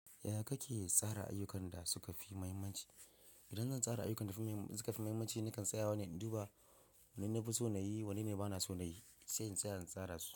Yaya kake tsara ayyukan da suka fi muhimmanci? Idan zan tsara ayyukan da suka fi muhimmanci, nakan tsaya wa ne duba wanne na fi so na yi, wanne bana so na yi, sai in tsaya in tsara su.